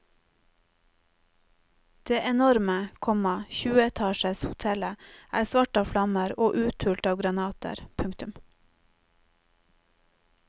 Det enorme, komma tjueetasjers hotellet er svart av flammer og uthult av granater. punktum